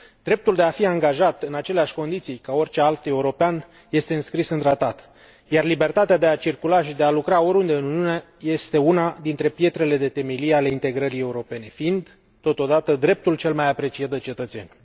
Dreptul de a fi angajat în aceleași condiții ca oricare alt european este înscris în Tratat, iar libertatea de a circula și de a lucra oriunde în Uniune este una dintre pietrele de temelie ale integrării europene, fiind totodată dreptul cel mai apreciat de cetățeni.